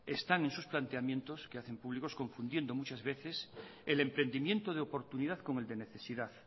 están en sus planteamientos que hacen públicos confundiendo muchas veces el emprendimiento de oportunidad con el de necesidad